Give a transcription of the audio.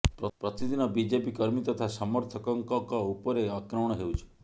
ପ୍ରତିଦିନ ବିଜେପି କର୍ମୀ ତଥା ସମର୍ଥକକଙ୍କ ଉପରେ ଆକ୍ରମଣ ହେଉଛି